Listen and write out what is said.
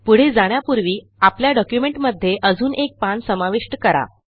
पुढे जाण्यापूर्वी आपल्या डॉक्युमेंटमध्ये अजून एक पान समाविष्ट करा